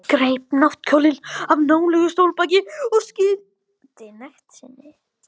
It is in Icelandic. Greip náttkjólinn af nálægu stólbaki og skýldi nekt sinni.